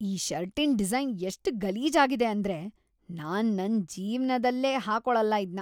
ಈ ಷರ್ಟಿನ್‌ ಡಿಸೈನ್‌ ಎಷ್ಟ್‌ ಗಲೀಜಾಗಿದೆ ಅಂದ್ರೆ ನಾನ್‌ ನನ್ ಜೀವ್ಮಾನ್ದಲ್ಲೇ ಹಾಕೊಳಲ್ಲ ಇದ್ನ.